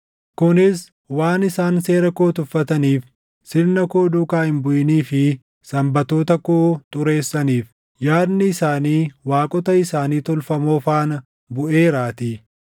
kunis waan isaan seera koo tuffataniif, sirna koo duukaa hin buʼinii fi Sanbatoota koo xureessaniif. Yaadni isaanii waaqota isaanii tolfamoo faana buʼeeraatii.